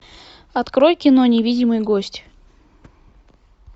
открой кино невидимый гость